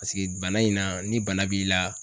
Paseke bana in na ni bana b'i la